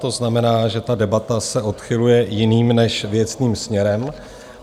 To znamená, že ta debata se odchyluje jiným než věcným směrem.